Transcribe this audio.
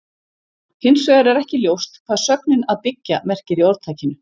Hins vegar er ekki ljóst hvað sögnin að byggja merkir í orðtakinu.